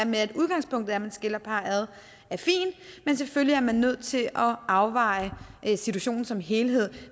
med at udgangspunktet er at man skiller parret ad men selvfølgelig er man nødt til at afveje situationen som helhed